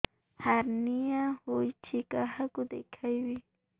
hernia ହୋଇଛି କାହାକୁ ଦେଖେଇବି